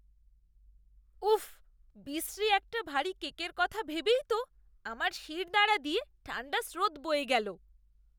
উফ্, বিশ্রী একটা ভারী কেকের কথা ভেবেই তো আমার শিরদাঁড়া দিয়ে ঠাণ্ডা স্রোত বয়ে গেল।